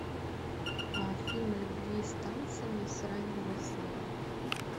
фильм о любви с танцами с с райаном гослингом